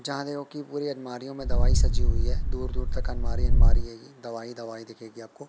जहाँ देखोगे की पूरी अलमारीयों में दवाई सजी हुई है दूर-दूर तक अलमारी अलमारी है ये दवाई-दवाई दिखेगी आपको।